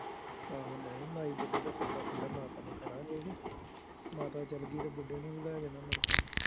ਆਹੋ ਨਹੀਂ, ਮਾਈ ਬੁੱਢੇ ਤੋਂ ਪਹਿਲਾਂ ਪਹਿਲਾਂ ਮਾਤਾ ਨੂੰ ਖੜ੍ਹਾਂਗੇ ਮਾਤਾ ਚੱਲ ਗਈ ਤਾਂ ਬੁੱਢੇ ਨੂੰ ਵੀ ਲੈ ਜਾਣਾ ਮੁੜਕੇ